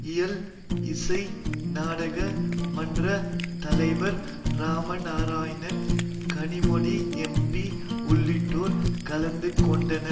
இயல் இசை நாடக மன்ற தலைவர் ராம நாராயணன் கனிமொழி எம்பி உள்ளிட்டோர் கலந்து கொண்டனர்